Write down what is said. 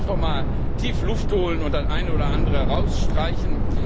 Also lassen Sie uns doch einmal tief Luft holen und das eine oder andere herausstreichen!